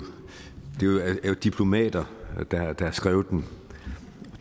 diplomater der har skrevet den